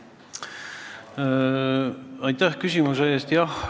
Aitäh küsimuse eest!